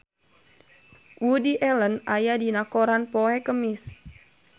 Woody Allen aya dina koran poe Kemis